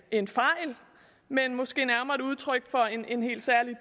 en fejl men måske nærmere et udtryk for en helt særlig